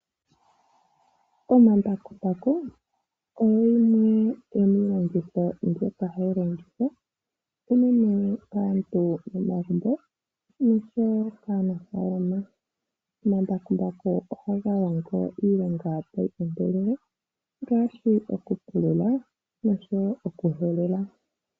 Omambakumbaku oyo yimwe yo miilolongi ombyoka hayi longithwa unene kaantu momagumbo noshowo kaanafalama. Omambakumbaku ohaga longo iilonga tayi kondololwa mgaashi okupulula noshowo okuhelela.